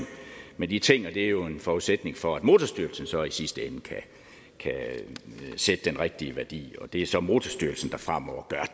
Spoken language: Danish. med de ting og det er jo en forudsætning for at motorstyrelsen så i sidste ende kan sætte den rigtige værdi det er så motorstyrelsen der fremover gør